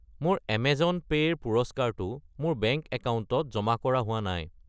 মোৰ Amazon pay ৰ পুৰস্কাৰটো মোৰ বেংক একাউণ্টত জমা কৰা হোৱা নাই।